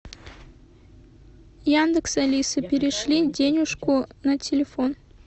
яндекс алиса перешли денюжку на телефон